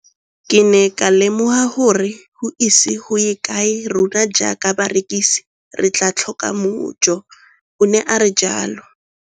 Ke ne ka lemoga gore go ise go ye kae rona jaaka barekise re tla tlhoka mojo, o ne a re jalo.